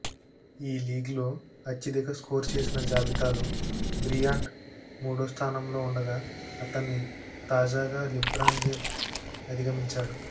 ఈ లీగ్లో అత్యధిక స్కోర్ చేసిన జాబితాలో బ్రియాంట్ మూడో స్థానంలో ఉండగా అతన్ని తాజాగా లీబ్రాన్ జేమ్స్ అధిగమించాడు